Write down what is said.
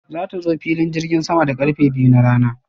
Za ta zo filin jirgin sama da karfe biyu na rana.